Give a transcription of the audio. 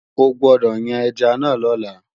O gbódọ̀ yan ẹja náà lọ́la!